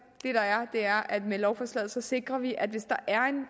med lovforslaget sikrer vi at hvis der er